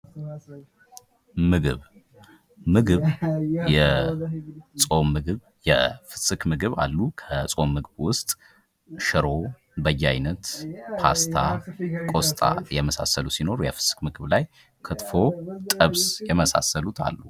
ምግብ፦ ምግብ የጾም ምግብ የፍስክ ምግብ የጾም ምግብ አሉ። ከጾም ምግብ ውስጥ ሽሮ ፣በያይነት፣ ፓስታ፣ ቆስጣ የመሳሰሉት ሲኖሩ የፍስክ ምግብ ላይ ክትፎ፤ ጥብስ የመሳሰሉት አሉ።